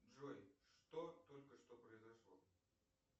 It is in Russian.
джой что только что произошло